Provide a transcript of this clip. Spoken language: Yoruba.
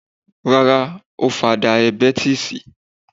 Rárá ó fa dayabẹ́tísì.